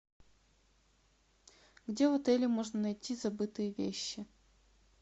где в отеле можно найти забытые вещи